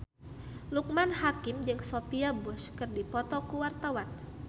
Loekman Hakim jeung Sophia Bush keur dipoto ku wartawan